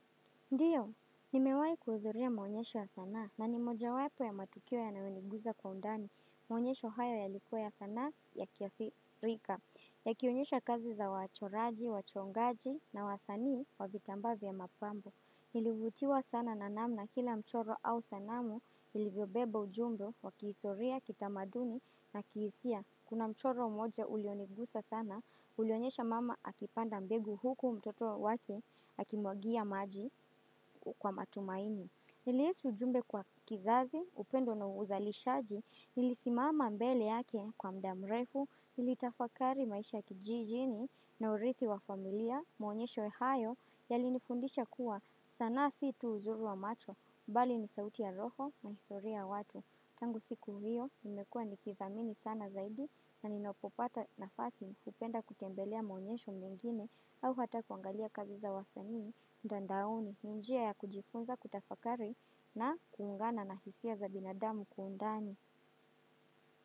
Ndiyo, nimewahi kuhudhuria maonyesho ya sanaa na ni mojawapo ya matukio yanaoniguza kwa undani, maonyesho haya yalikuwa ya sanaa ya kiafrika, yakionyesha kazi za wachoraji, wachongaji na wasanii wa vitambaa vya mapambo. Nilivutiwa sana na namna kila mchoro au sanamu ilivyobeba ujumbe wa kihistoria, kitamaduni na kihisia. Kuna mchoro moja ulionigusa sana, ulionyesha mama akipanda mbegu huku mtoto wake akimwagia maji kwa matumaini. Nilihisi ujumbe kwa kizazi, upendo na uzalishaji, nilisimama mbele yake kwa muda mrefu, nilitafakari maisha kijijini na urithi wa familia, maonyesho hayo, yalinifundisha kuwa sana si tu uzuri wa macho, bali ni sauti ya roho na historia ya watu. Tangu siku hiyo, nimekuwa nikithamini sana zaidi na ninapopata nafasi ningependa kutembelea maonyesho mengine au hata kuangalia kazi za wasanii, mtandaoni, ni njia ya kujifunza kutafakari na kuungana na hisia za binadamu kwa undani.